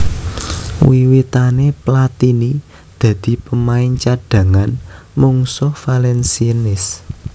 Wiwitané Platini dadi pemain cadhangan mungsuh Valenciennes